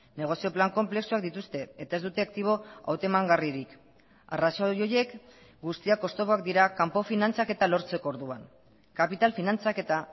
negozio plan konplexuak dituzte eta ez dute aktibo hautemangarririk arrazoi horiek guztiak oztopoak dira kanpo finantzaketa lortzeko orduan kapital finantzaketa